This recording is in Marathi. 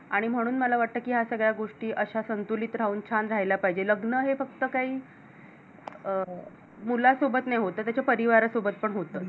आणि म्हणून मला वाटतं या सगळ्या गोष्टी अश्या संतुलित राहून छान राहायला पाहिजे लग्न हे फक्त काही अं मुलासोबत नाही होत त त्याच्या परिवारासोबत पण होत.